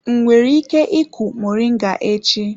M nwere ike ịku moringa echi?